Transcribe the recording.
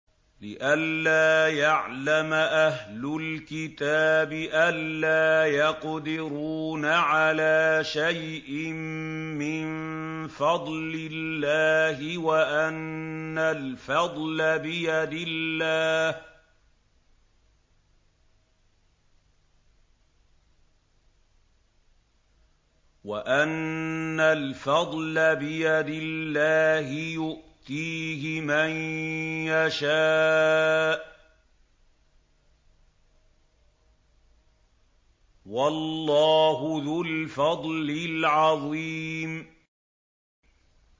لِّئَلَّا يَعْلَمَ أَهْلُ الْكِتَابِ أَلَّا يَقْدِرُونَ عَلَىٰ شَيْءٍ مِّن فَضْلِ اللَّهِ ۙ وَأَنَّ الْفَضْلَ بِيَدِ اللَّهِ يُؤْتِيهِ مَن يَشَاءُ ۚ وَاللَّهُ ذُو الْفَضْلِ الْعَظِيمِ